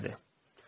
Aslan dedi.